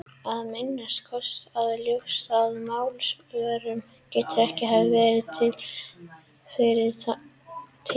Að minnsta kosti er ljóst að Málsvörnin getur ekki hafa verið rituð fyrir þann tíma.